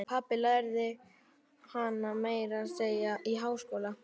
Pabbi lærði hana meira að segja í háskóla.